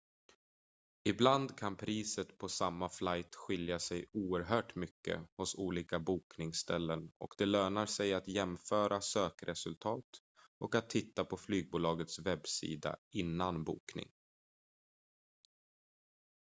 ibland kan priset på samma flight skilja sig oerhört mycket hos olika bokningsställen och det lönar sig att jämföra sökresultat och att titta på flygbolagets webbsida innan bokning